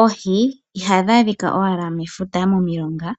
Oohi ihadhi adhika ashike mefuta momilonga